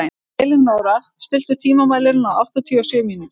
Elínóra, stilltu tímamælinn á áttatíu og sjö mínútur.